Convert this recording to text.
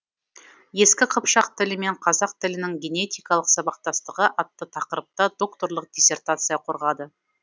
ескі қыпшақ тілі мен қазақ тілінің генетикалық сабақтастығы атты тақырыпта докторлық диссертация қорғады